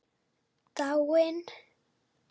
Dáin?